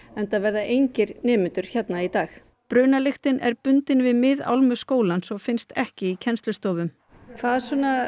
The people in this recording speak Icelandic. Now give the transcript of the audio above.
enda verða engir nemendur hérna í dag er bundin við skólans og finnst ekki í kennslustofum hvað